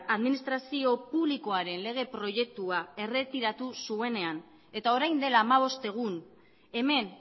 administrazio publikoaren lege proiektua erretiratu zuenean eta orain dela hamabost egun hemen